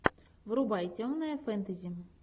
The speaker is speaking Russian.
врубай темное фэнтези